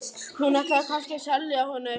Hún ætlaði kannski að selja honum eitthvað.